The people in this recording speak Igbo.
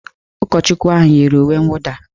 Ụkọchukwu ahụ yiri uwe nwụda